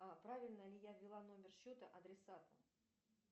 правильно ли я ввела номер счета адресата